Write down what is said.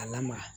A lamaga